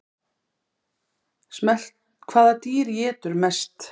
Hvaða dýr étur mest?